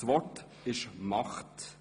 Das Wort ist Macht.